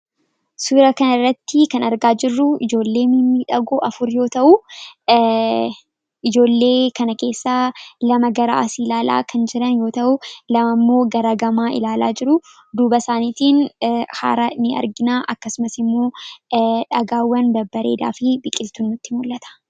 Suuraa kanarratti kan argaa jirru ijoollee mimmiidhagoo afur yoo ta'u, ijoollee kana keessaa lama gara asii ilaala kan jiran yoo ta'u, lama immoo gara gamaa ilaalaa jiruu. Duuba isaaniitiin hara ni arginaa. Akkasumas immoo dhagaawwan babbareedaa fi biqiltuun nutti mul'ata.